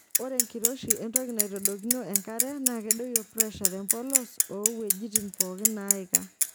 Ore enkiroshi entoki naitodoikino enkare naa kedoyio presha tempolos oo wueijitin pookin neiika.